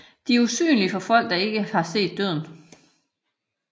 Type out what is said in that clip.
De er usynlige for folk der ikke har set Døden